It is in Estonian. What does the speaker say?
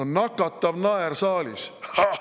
No nakatav naer saalis!